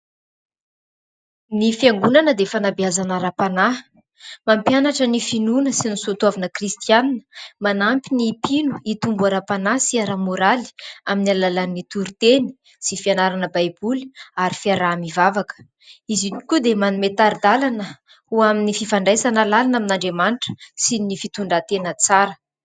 Ny fiangonana dia fanabeazana ara-panahy, mampianatra ny finoana sy ny soatoavana kristianina, manampy ny mpino hitombo ara-panahy sy ara-moraly amin'ny alalan'ny tori-teny sy fianarana baiboly ary fiaraha-mivavaka. Izy io tokoa dia manome tari-dalana ho amin'ny fifandraisana lalina amin'Andriamanitra sy ny fitondran-tena tsara.